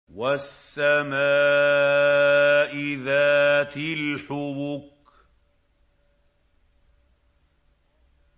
وَالسَّمَاءِ ذَاتِ الْحُبُكِ